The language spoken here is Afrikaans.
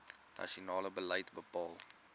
nasionale beleid bepaal